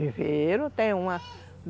Viveram, tem uma...